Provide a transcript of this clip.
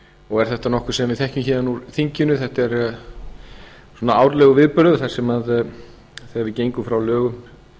og er þetta nokkuð sem við þekkjum héðan úr þinginu þetta er svona árlegur viðburður þegar við gengum frá lögum